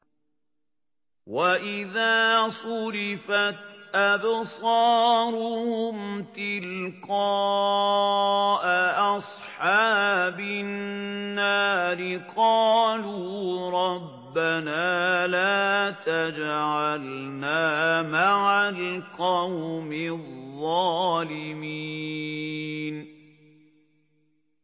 ۞ وَإِذَا صُرِفَتْ أَبْصَارُهُمْ تِلْقَاءَ أَصْحَابِ النَّارِ قَالُوا رَبَّنَا لَا تَجْعَلْنَا مَعَ الْقَوْمِ الظَّالِمِينَ